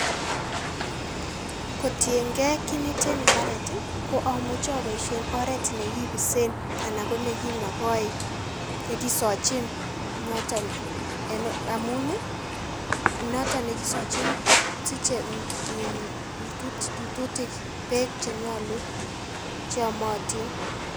Kotienkee kiit neten imbareet i ko amuche aboishen oret nekibibsen anan konekinokoi, chekisochin noton amun noton nekisochin kosiche iin rututik beek chenyolu cheyomotin